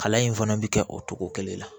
Kalan in fana bɛ kɛ o cogo kelen na